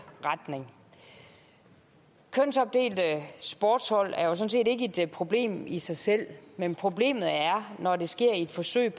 retning kønsopdelte sportshold er jo sådan set ikke et problem i sig selv men problemet er når det sker i et forsøg